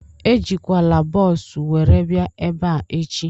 Ejikwana bọọsu were bịa ebea echi!